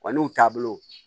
Wa n'u taabolo